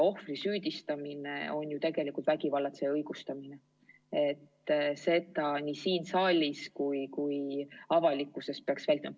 Ohvri süüdistamine on ju tegelikult vägivallatseja õigustamine ning seda peaks nii siin saalis kui avalikkuses vältima.